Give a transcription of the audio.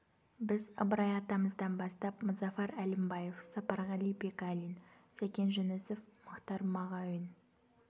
біз ыбырай атамыздан бастап мұзафар әлімбаев сапарғали бегалин сәкен жүнісов мұхтар мағауин